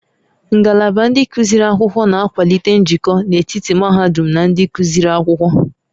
Ngalaba ndị gụsịrị akwụkwọ na-akwalite njikọ n'etiti mahadum na ndị gụsịrị akwụkwọ